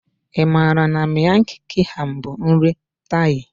Ị maara na Miang kham bụ nri Thai?